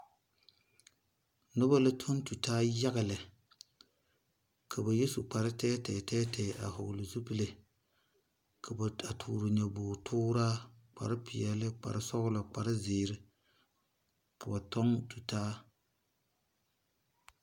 Nuba la tɔng tu taa yaga le ka ba yɛ su kpare tɛɛ tɛɛ a vɔgli zupile ka ba touri nyaboori tuuraa kpare sɔglo kpare ziiri ka ba tɔng tu taa.